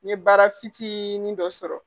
N ye baara fitiinin dɔ sɔrɔ.